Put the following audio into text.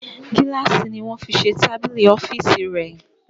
Gílàsì ni wọ́n fi se tábìlì ọ́fìsì rẹ̀